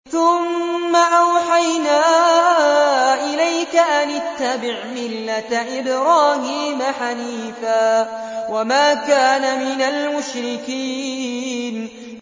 ثُمَّ أَوْحَيْنَا إِلَيْكَ أَنِ اتَّبِعْ مِلَّةَ إِبْرَاهِيمَ حَنِيفًا ۖ وَمَا كَانَ مِنَ الْمُشْرِكِينَ